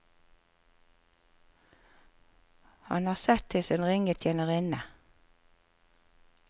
Han har sett til sin ringe tjenerinne.